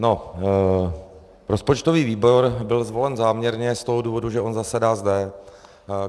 No, rozpočtový výbor byl zvolen záměrně z toho důvodu, že on zasedá zde.